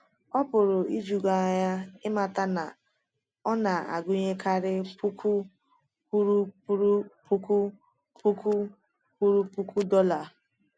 Ọ pụrụ iju gị anya ịmata na ọ na-agụnyekarị puku kwuru puku puku kwuru puku dollar.